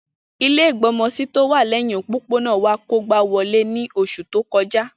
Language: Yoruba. Ilẹ́ ìgbọmọsí tówà lẹhin òpópónà wa kógba wolé ni oṣu to kọja.